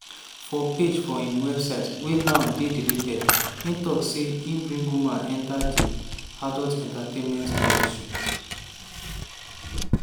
for page for im website wey now dey deleted e tok say e bring women enta di "adult entertainment industry".